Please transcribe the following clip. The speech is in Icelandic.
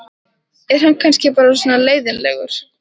Er hann kannski bara svona leiðinlegur?